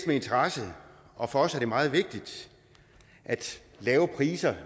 med interesse og for os er det meget vigtigt at lave priser